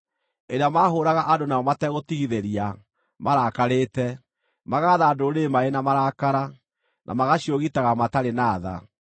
ĩrĩa maahũũraga andũ nayo mategũtigithĩria, marakarĩte, magaatha ndũrĩrĩ marĩ na marakara, na magaciũgitaga matarĩ na tha.